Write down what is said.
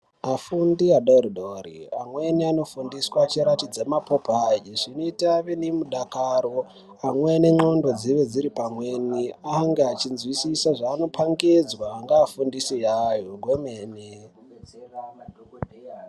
Afundi adodori amweni anofundiswa achiratidzwa mapopai zvinoita kuti ave nerudakaro amweni ngenxondo dzinenge dziri pamweni ange achinzwisisa zvanenge achipangizwa nevafundisi vavo kwemene.